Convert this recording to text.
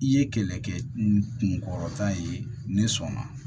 I ye kɛlɛkɛ kunkɔrɔta ye ne sɔn na